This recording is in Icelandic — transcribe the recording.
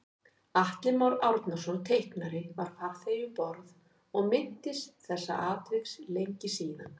Atli Már Árnason teiknari var farþegi um borð og minntist þessa atviks lengi síðan